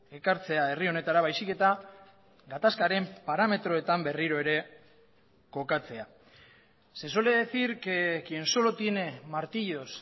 ekartzea herri honetara baizik eta gatazkaren parametroetan berriro ere kokatzea se suele decir que quien solo tiene martillos